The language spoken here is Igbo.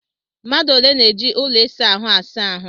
Mmadụ ole na-eji ụlọ ịsa ahụ asa ahụ?